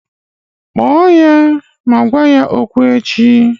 Kpọọ ya ma gwa ya okwu echi!